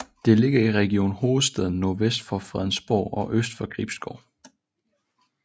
Den ligger i Region Hovedstaden nordvest for Fredensborg og øst for Gribskov